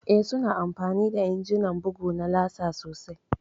Eh, su na amfani da injimin bugu na laser sosai